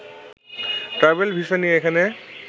travel visa নিয়ে এখানে